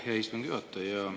Aitäh, hea istungi juhataja!